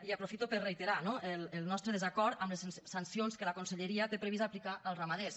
i aprofito per reiterar no el nostre desacord amb les sancions que la conselleria té previst aplicar als ramaders